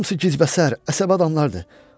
Hamısı qicbəsər, əsəbi adamlardır.